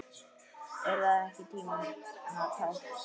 Er það ekki tímanna tákn?